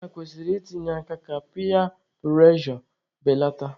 Nne na nna kwesịrị i tinye aka ka piya prụrejọ beleta.